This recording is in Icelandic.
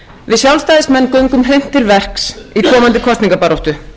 við sjálfstæðismenn göngum hreint til verks í komandi kosningabaráttu